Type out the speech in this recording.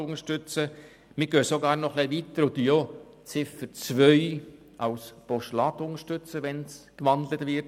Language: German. Wir gehen sogar noch ein bisschen weiter und unterstützen auch Ziffer 2 als Postulat, sollte diese gewandelt werden.